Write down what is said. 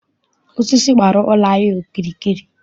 Osisi gbara ụlọ anyị okirikiri.